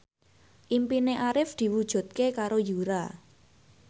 impine Arif diwujudke karo Yura